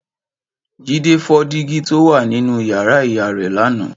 Jídé fọ́ dígí to wá nínú yàrá ìyá rẹ̀ lánàá